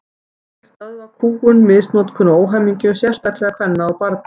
Hún vill stöðva kúgun, misnotkun og óhamingju, sérstaklega kvenna og barna.